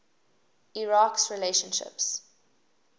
iraq s relationships